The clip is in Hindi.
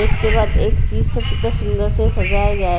एक के बाद एक चीज कितना सुंदर से सजाया गया है।